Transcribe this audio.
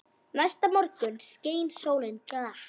Næsta morgun skein sólin glatt.